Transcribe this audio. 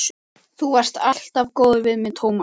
Þú varst alltaf góður við mig, Tómas.